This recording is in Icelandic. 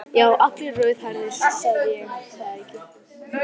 Já, allir rauðhærðir, sagði ég það ekki.